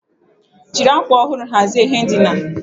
Jiri akwa ọhụrụ hazie ihe ndina.